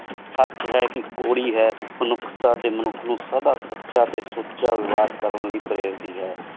ਸਚ ਹੈ ਕ ਕੋਰ੍ਰੀ ਹੈ ਪਾਨੁਖ੍ਤਾਂ ਡੀ ਮਨੁਖ ਨੂ ਸਦਾ ਸਚਾ ਟੀ ਸੁਚਾ ਵ੍ਯਰ ਕਰਨ ਲੈ ਪਰੇਰ ਦੀ ਹੈ